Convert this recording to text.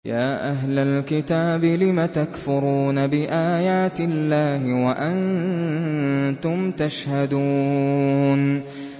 يَا أَهْلَ الْكِتَابِ لِمَ تَكْفُرُونَ بِآيَاتِ اللَّهِ وَأَنتُمْ تَشْهَدُونَ